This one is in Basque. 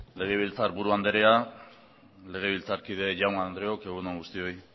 legebiltzarburu anderea legebiltzarkide jaun andreok egun on guztioi